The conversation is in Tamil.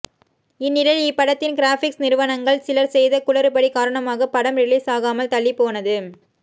இந்நிலையில் இப்படத்தின் கிராபிக்ஸ் நிறுவனங்கள் சிலர் செய்த குளறுபடி காரணமாக படம் ரிலீஸ் ஆகாமல் தள்ளிப்போனது